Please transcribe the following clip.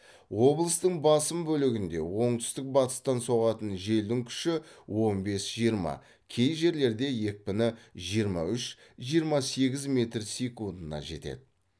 облыстың басым бөлігінде оңтүстік батыстан соғатын желдің күші он бес жиырма кей жерлерде екпіні жиырма үш жиырма сегіз метр секундына жетеді